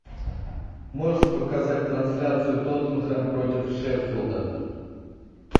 можешь показать трансляцию тоттенхэм против шеффилда